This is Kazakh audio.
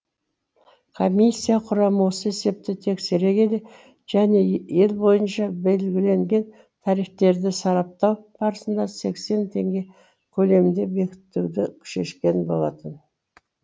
комиссия құрамы осы есепті тексере келе және ел бойынша белгіленген тарифтерді сараптау барысында сексен теңге көлемінде бекітуді шешкен болатын